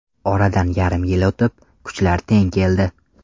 Oradan yarim yil o‘tib, kuchlar teng keldi.